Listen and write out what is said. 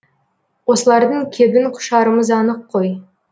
осылардың кебін құшарымыз анық қой